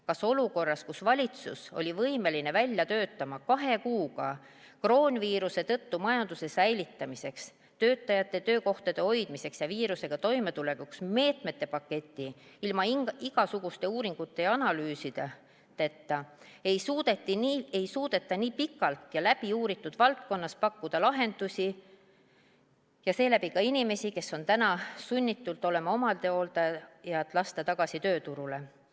Kas olukorras, kus valitsus oli võimeline välja töötama kahe kuuga kroonviiruse tõttu majanduse säilitamiseks, töötajate töökohtade hoidmiseks ja viirusega toimetulekuks meetmete paketi ilma igasuguste uuringute ja analüüsideta, ei suudeta nii pikalt uuritud valdkonnas pakkuda lahendusi ja lasta seeläbi ka inimesi, kes on täna sunnitud olema omastehooldajad, tagasi tööturule?